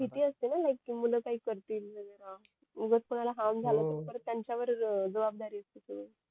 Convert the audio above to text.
भीती असतेना लाईक कि मूल काय करतील वैगेरा जर कोणाला हार्म झालं तर त्यांच्या वरच जबाबदारी असते ती